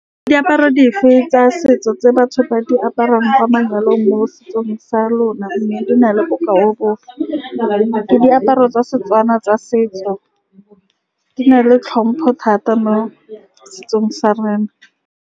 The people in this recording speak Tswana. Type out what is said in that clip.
Ke diaparo dife tsa setso tse batho ba di aparang kwa manyalong mo setsong sa lona, mme di na le bokao bofe, mme ke diaparo tsa Setswana tsa setso di na le tlhompho thata mo setsong sa rena.